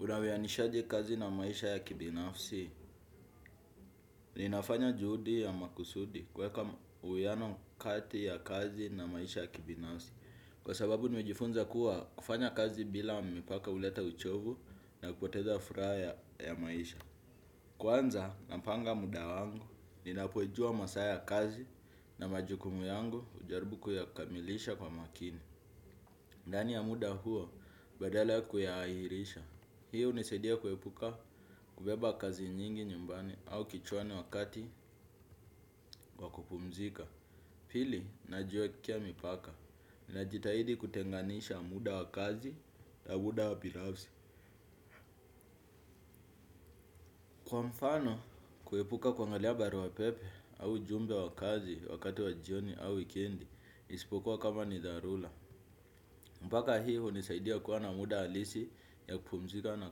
Unawianishaje kazi na maisha ya kibinafsi, ninafanya juhudi ya makusudi kuweka uwiano kati ya kazi na maisha ya kibinafsi. Kwa sababu nimejifunza kuwa kufanya kazi bila mipaka huleta uchovu na kupoteza furaha ya maisha. Kwanza, napanga muda wangu, ninapojua masaa ya kazi na majukumu yangu hujarbu kuyakamilisha kwa makini. Ndani ya muda huo badala ya kuyahairisha hi hunisaidia kuepuka kubeba kazi nyingi nyumbani au kichwani wakati wa kupumzika. Pili najiwekea mipaka. Najitahidi kutenganisha muda wa kazi na muda wa pinagsi. Kwa mfano kuepuka kuangalia barua pepe au ujumbe wa kazi wakati wa jioni au wikendi. Isipokua kama ni dharula. Mpaka hii unisaidia kuwa na muda halisi ya kupumzika na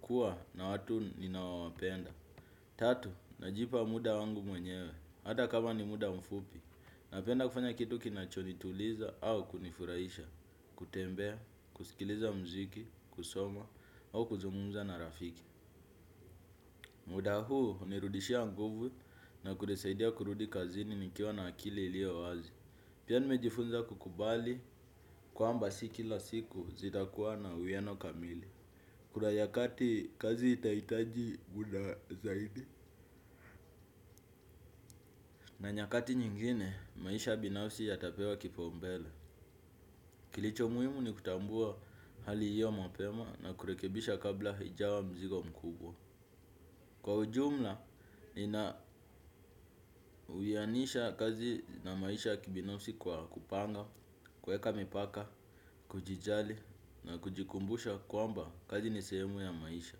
kuwa na watu ninaiwapenda. Tatu, najipa muda wangu mwenyewe hata kama ni muda mfupi napenda kufanya kitu kinachonituliza au kunifuraisha kutembea, kusikiliza mziki, kusoma au kuzungumza na rafiki. Muda huu hunirudishia nguvu na kuresaidia kurudi kazini nikiwa na akili ilio wazi. Pia nimejifunza kukubali kwamba si kila siku zitakuwa na uiano kamili. Kura nyakati kazi itahitaji muda zaidi. Na nyakati nyingine maisha binafsi yatapewa kipaumbele. Kilicho muhimu ni kutambua hali iyo mapema na kurekebisha kabla haijawa mzigo mkubwa. Kwa ujumla nina uyanisha kazi na maisha ya kibinafsi kwa kupanga, kuweka mipaka, kujijali na kujikumbusha kwamba kazi ni sehemu ya maisha.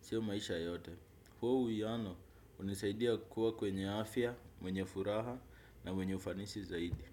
Sio maisha yote. Huo uyano hunisaidia kuwa kwenye afya, mwenye furaha na mwenye ufanisi zaidi.